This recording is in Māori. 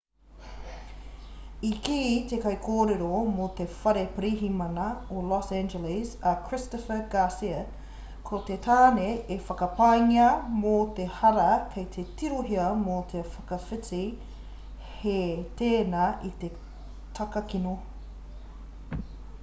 i kī te kaikōrero mō te whare pirihimana o los angeles a christopher garcia ko te tāne e whakapaengia mō te hara kei te tirohia mō te whakawhiti hē tēnā i te takakino